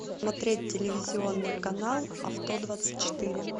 смотреть телевизионный канал авто двадцать четыре